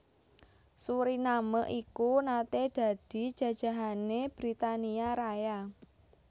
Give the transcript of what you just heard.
Suriname iku naté dadi jajahané Britania Raya